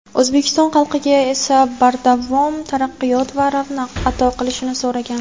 O‘zbekiston xalqiga esa bardavom taraqqiyot va ravnaq ato qilishini so‘ragan.